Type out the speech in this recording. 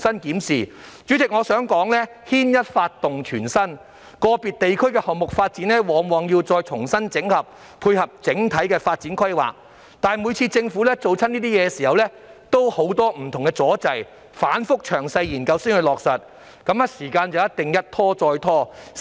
代理主席，我想指出，牽一髮動全身，個別地區的項目發展往往要重新整合，以配合整體的發展規劃，但每次政府進行這些工作時也遇到很多不同阻滯，需經反覆詳細研究才落實，於是時間上一定是一拖再拖。